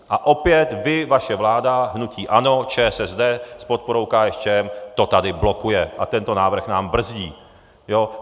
A opět vy, vaše vláda hnutí ANO, ČSSD s podporou KSČM, to tady blokuje a tento návrh nám brzdí.